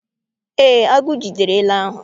Ee, agụ jidere ele ahụ.